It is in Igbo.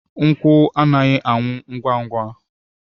Nkwụ anaghị anwụ ngwa ngwa.